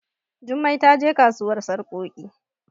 Jummai ta je kasuwar sarkoki